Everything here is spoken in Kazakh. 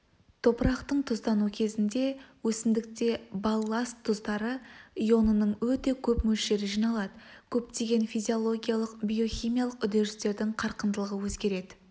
топырақтың тұздану кезінде өсімдікте балласт тұздар ионының өте көп мөлшері жиналады көптеген физиологиялық-биохимиялық үдерістердің қарқындылығы өзгереді